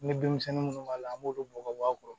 Ni denmisɛnnin minnu b'a la an b'olu bɔ ka bɔ a kɔrɔ